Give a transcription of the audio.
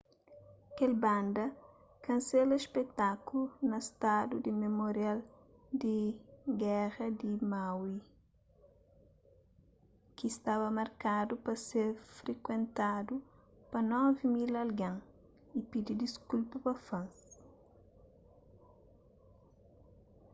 kel banda kansela spetákulu na stádiu di memorial di géra di maui ki staba markadu pa ser frikuentadu pa 9.000 algen y pidi diskulpa pa fans